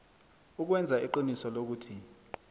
ukwenza iqiniso lokuthi